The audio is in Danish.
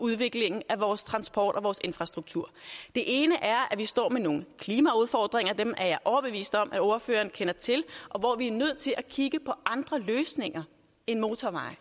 udviklingen af vores transport og vores infrastruktur det ene er at vi står med nogle klimaudfordringer og dem er jeg overbevist om at ordføreren kender til og hvor vi er nødt til at kigge på andre løsninger end motorveje